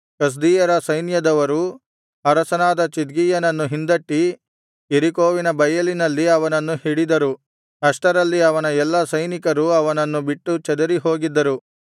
ಕಸ್ದೀಯರ ಸೈನ್ಯದವರು ಅರಸನಾದ ಚಿದ್ಕೀಯನನ್ನು ಹಿಂದಟ್ಟಿ ಯೆರಿಕೋವಿನ ಬಯಲಿನಲ್ಲಿ ಅವನನ್ನು ಹಿಡಿದರು ಅಷ್ಟರಲ್ಲಿ ಅವನ ಎಲ್ಲಾ ಸೈನಿಕರು ಅವನನ್ನು ಬಿಟ್ಟು ಚದರಿ ಹೋಗಿದ್ದರು